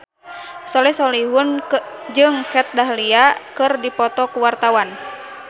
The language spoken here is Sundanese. Soleh Solihun jeung Kat Dahlia keur dipoto ku wartawan